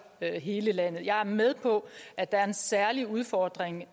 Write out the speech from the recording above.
hele landet jeg er med på at der er en særlig udfordring